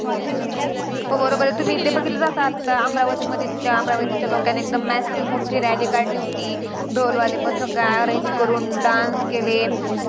हो बरोबर आहे तुम्ही ते बघितलंच जसं आता अमरावतीमध्ये ते अमरावतीच्या लोकांनी एकदम massive मोठी rally काढली होती. ढोलवाले पथक arrange करून dance केले